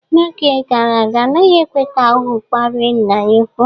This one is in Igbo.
N'oge gara aga anaghị ekwe ka ohu kparịe nna ya ukwu